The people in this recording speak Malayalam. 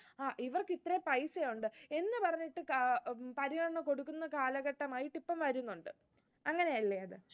ഇവർക്ക് ഇത്ര paisa ഉണ്ട് എന്ന് പറഞ്ഞിട്ട് ഏർ പരിഗണന കൊടുക്കുന്ന കാലഘട്ടമായിട്ട് ഇപ്പോ വരുന്നുണ്ട്. അങ്ങനെയല്ലേ അത്.